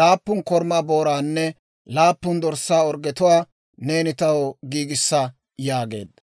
laappun korumaa booraanne laappun dorssaa orggetuwaa neeni taw giigissa» yaageedda.